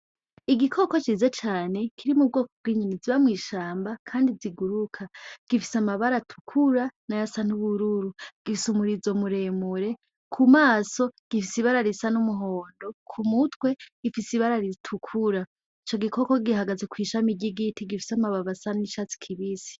Igikoko ciza cane kiri m'ubwoko bw'inyoni ziba mwishamba kandi ziguruka gifise amabara atukura nayasa n'ubururu gifise umurizo muremure k'umaso gifise ibara risa n'umuhondo k'umutwe gifise ibara ritukura ico gikoko gihagaze kw'ishami ry'igiti gifise amabibi asa n'icatsi kibisi.